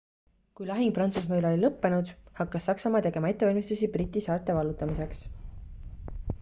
kui lahing prantsusmaa üle oli lõppenud hakkas saksamaa tegema ettevalmistusi briti saarte vallutamiseks